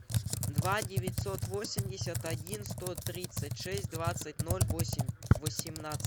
два девятьсот восемьдесят один сто тридцать шесть двадцать ноль восемь восемнадцать